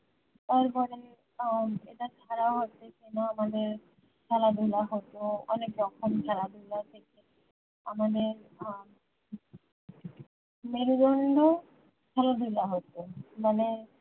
তারপরে উম এটা ছাড়া হচ্ছে কিনা মানে খেলাধুলা হত অনেক রকম খেলাধুলা থেকে আমাদের উম মেরুদন্ড খেলাধুলা হত মানে